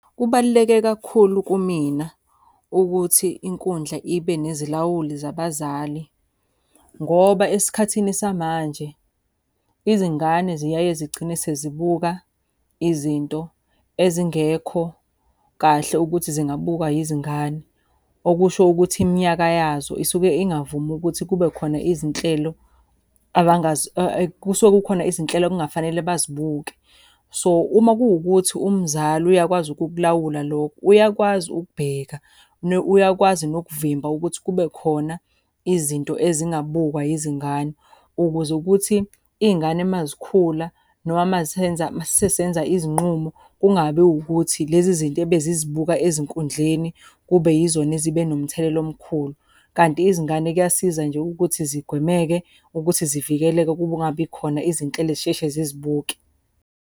Kubaluleke kakhulu kumina ukuthi inkundla ibe nezilawuli zabazali, ngoba esikhathini samanje izingane ziyaye zigcine sezibuka izinto ezingekho kahle ukuthi zingabukwa izingane. Okusho ukuthi iminyaka yazo isuke ingavumi ukuthi kube khona izinhlelo kusuke kukhona izinhlelo ekungafanele bazibukele. So, uma kuwukuthi umzali uyakwazi ukukulawula lokho, uyakwazi ukubheka, uyakwazi nokuvimba ukuthi kube khona izinto ezingabukwa izingane. Ukuze kuthi iy'ngane uma zikhula, noma masenza masesenza izinqumo kungabi ukuthi lezi zinto ebezizibuka ezinkundleni kube yizona ezibe nomthelela omkhulu. Kanti izingane kuyasiza nje ukuthi zigwemeke ukuthi zivikeleke kungabi khona izinhlelo ezisheshe zizibuke.